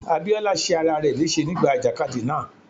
Abíọ́lá ṣe ara rẹ léṣe nígbà ìjàkadì náà.